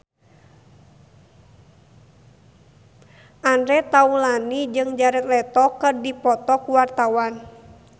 Andre Taulany jeung Jared Leto keur dipoto ku wartawan